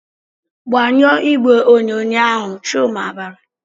"Gbanyụọ igwe onyonyo ahụ!" Chuma bara.